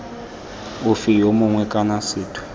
ofe yo mongwe kana sethwe